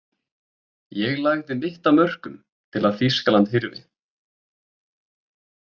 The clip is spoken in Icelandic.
Ég lagði mitt af mörkum til að Þýskaland hyrfi.